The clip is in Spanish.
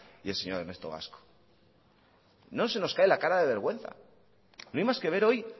y el señor ernesto gasco no se nos cae la cara de vergüenza no hay más que ver hoy